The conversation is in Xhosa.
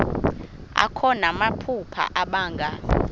akho namaphupha abanga